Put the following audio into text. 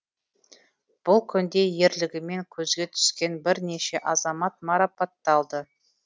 бұл күнде ерлігімен көзге түскен бірнеше азамат марапатталды